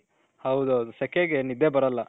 ಹೌದೌದು ಶೆಕೆ ಗೆ ನಿದ್ದೆ ಬರಲ್ಲ